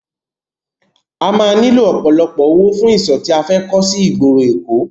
A máa nílò ọ̀pọ̀lọpọ̀ owó fún ìsò tí a fẹ́ kọ́ sí ìgboro èkó.